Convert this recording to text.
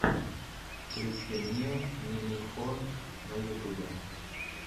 включи мне нимихо на ютубе